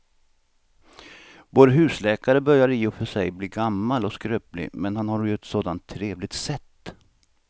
Vår husläkare börjar i och för sig bli gammal och skröplig, men han har ju ett sådant trevligt sätt!